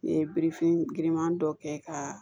N ye birifini giriman dɔ kɛ ka